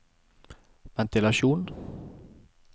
ventilasjon